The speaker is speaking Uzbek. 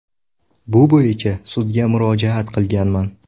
Bu bo‘yicha sudga murojaat qilganman.